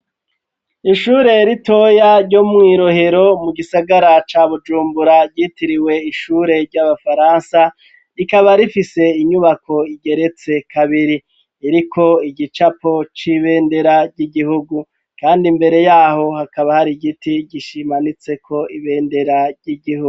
Ishure ritoya ryo mw'irohero mu gisagara ca bujumbura ryitiriwe ishure ry'abafaransa rikaba rifise inyubako igeretse kabiri iriko igicapo c'ibendera ry'igihugu, kandi imbere yaho hakaba hari igiti gishimanitseko ibendera ry'igihu.